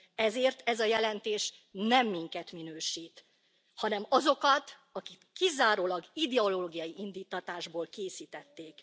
Ezért ez a jelentés nem minket minősít, hanem azokat, akik kizárólag ideológiai indíttatásból készítették.